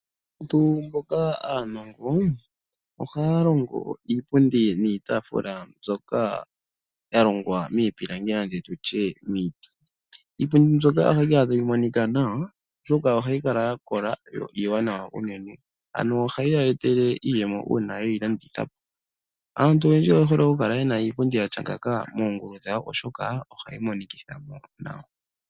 Aantu mboka aanongo, ohaya longo iipundi niitafula mbyoka ya longwa miipilangi nenge tutye miiti. Ipundi mbyoka oha yi kala tayi monika nawa, oshoka oha yi kala ya kola yo iiwanawa unene. Ano oha yi ya etele iiyemo uuna ye yi landitha po. Aantu oyendji oye hole oku kala yena iipundi yatya ngaaka moongulu dhawo, oshoka ohayi monikitha mo nawa.